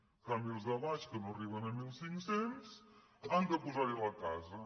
en canvi els de baix que no arriben a mil cinc cents han de posar hi la casa